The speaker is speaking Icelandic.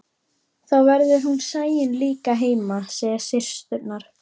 Þá verður hún Sæunn líka heima, segja systurnar.